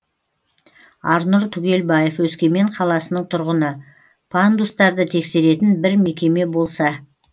арнұр түгелбаев өскемен қаласының тұрғыны пандустарды тексеретін бір мекеме болса